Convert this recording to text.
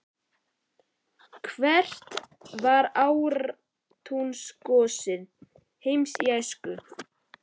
Hvert var átrúnaðargoð Heimis í æsku?